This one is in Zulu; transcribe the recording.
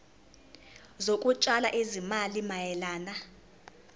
zokutshala izimali mayelana